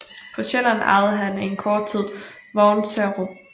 På Sjælland ejede han en kort tid Vognserup